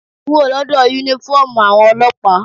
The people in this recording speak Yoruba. Kúrò lọ́dọ̀ uniform àwọn ọlọ́pàá!